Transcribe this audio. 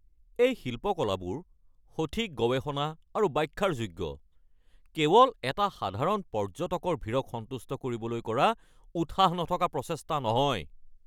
এই শিল্পকলাবোৰ সঠিক গৱেষণা আৰু ব্যাখ্যাৰ যোগ্য, কেৱল এটা সাধাৰণ পৰ্য্যটকৰ ভীৰক সন্তুষ্ট কৰিবলৈ কৰা উৎসাহ নথকা প্ৰচেষ্টা নহয়।